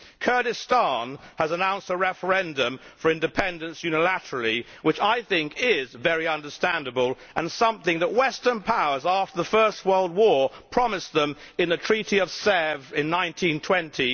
Kurdistan has announced a referendum for independence unilaterally, which I think is very understandable and something that western powers after the First World War promised them in the Treaty of Sèvres in 1920